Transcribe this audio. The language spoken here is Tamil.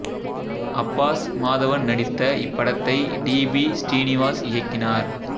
அப்பாஸ் மாதவன் நடித்த இப்படத்தை டி பி ஸ்ரீநிவாஸ் இயக்கினார்